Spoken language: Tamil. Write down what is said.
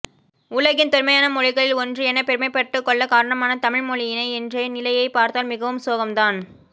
உலகின் தொன்மையான மொழிகளில் ஒன்று என பெருமைப்பட்டுக்கொள்ள காரணமான தமிழ் மொழியின் இன்றைய நிலையை பார்த்தால் மிகவும் சோகம் தான்